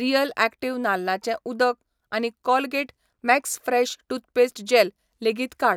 Real active नाल्लाचें उदक आनी Colgate max fresh toothpaste gel लेगीत काड.